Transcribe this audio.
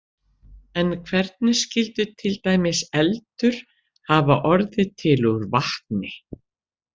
En hvernig skyldi til dæmis eldur hafa orðið til úr vatni?